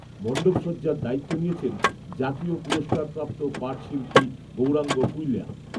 মণ্ডপসজ্জার দায়িত্ব নিয়েছেন জাতীয় পুরস্কারপ্রাপ্ত পাটশিল্পী, গৌরাঙ্গ কূইল্যা